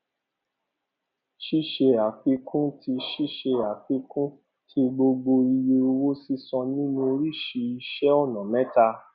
ṣíṣe àfikún tí ṣíṣe àfikún tí gbogbo iye owó sísan nínú oríṣi iṣẹ ọnà mẹta